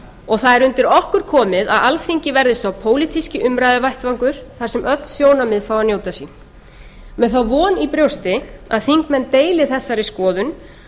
og það er undir okkur komið að alþingi verði sá pólitíski umræðuvettvangur þar sem öll sjónarmið fái að njóta sín með þá von í brjósti að þingmenn deili þessari skoðun